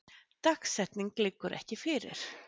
Dagsetning liggur ekki fyrir